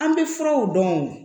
An bɛ furaw dɔn